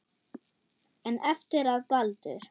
En eftir að Baldur.